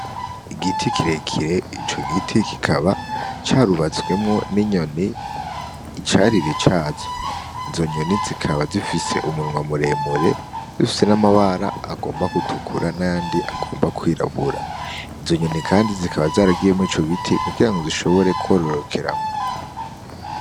Igiti kirekire, ico giti kikaba carubatswemwo n'inyoni icari cazo. Izo nyoni zikaba zifise umunwa muremure, zifise n'amabara agomba gutukura n'ayandi agomba kwirabura. Izo nyoni kandi zikaba zaragiye muri ico giti kugira ngo zishobore kwororokeramwo.